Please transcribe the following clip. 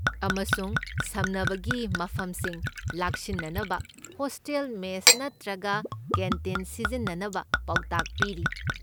ꯑꯃꯁꯨꯡ ꯁꯝꯅꯕꯒꯤ ꯃꯐꯝꯁꯤꯡ ꯂꯥꯛꯁꯤꯟꯅꯕ ꯍꯣꯁꯇꯦꯜ ꯃꯦꯁ ꯅꯠꯇ꯭ꯔꯒ ꯀꯦꯟꯇꯤꯟ ꯁꯤꯖꯤꯟꯅꯅꯕ ꯄꯥꯎꯇꯥꯛ ꯄꯤꯔꯤ꯫